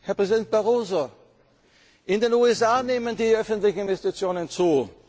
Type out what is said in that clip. führen muss. Herr Präsident Barroso, in den USA nehmen die öffentlichen Investitionen